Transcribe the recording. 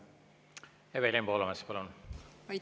Evelin Poolamets, palun!